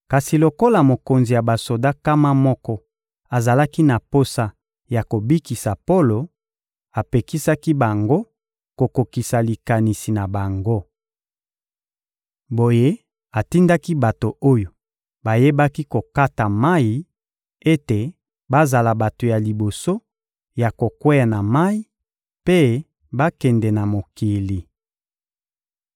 Kasi lokola mokonzi ya basoda nkama moko azalaki na posa ya kobikisa Polo, apekisaki bango kokokisa likanisi na bango. Boye, atindaki bato oyo bayebaki kokata mayi ete bazala bato ya liboso ya kokweya na mayi mpe bakende na mokili.